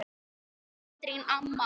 Katrín amma.